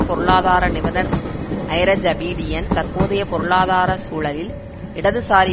பொருளாதார நிபுணர் Iraj Abedian தற்போதைய பொருளாதார சூழலில் இடதுசாரி